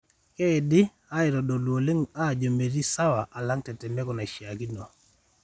keidi aitodolu oleng ajo meeti sawa alang tetemeko naishiakino.